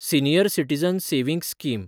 senior citizen savings scheme